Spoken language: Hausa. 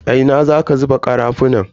A ina zaka zuba karafunan?